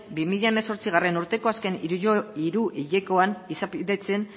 bi mila hemezortzigarrena urteko azken hiruhilekoan izapidetzen